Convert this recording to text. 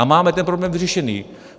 A máme ten problém vyřešený.